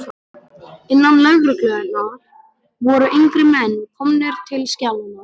Innan lögreglunnar voru yngri menn komnir til skjalanna.